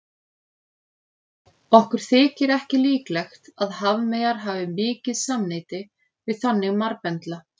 Okkur þykir ekki líklegt að hafmeyjar hafi mikið samneyti við þannig marbendla.